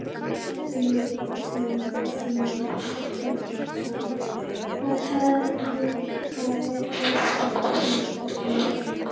Símon Birgisson: Hvað hafið þið gert í þessum máli?